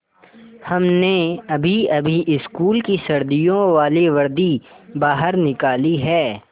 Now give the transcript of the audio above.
हमने अभीअभी स्कूल की सर्दियों वाली वर्दी बाहर निकाली है